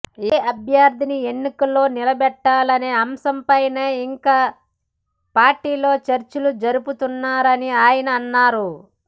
ఏ అభ్యర్థిని ఎన్నికల్లో నిలబెట్టాలనే అంశంపైన ఇంకా పార్టీలో చర్చలు జరుపుతున్నారని ఆయన అన్నారు